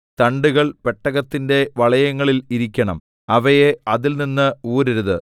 തണ്ടുകൾ പെട്ടകത്തിന്റെ വളയങ്ങളിൽ ഇരിക്കണം അവയെ അതിൽനിന്ന് ഊരരുത്